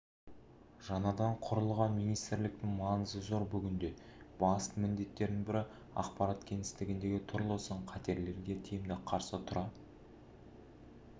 жаңадан құрылған министрліктің маңызы зор бүгінде басты міндеттердің бірі ақпарат кеңістігіндегі түрлі сын-қатерлерге тиімді қарсы тұра